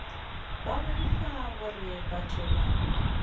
ba boifa gore batho ba